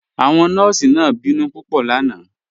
Awọn nọọ̀sí náà bínú pupọ̀ lánà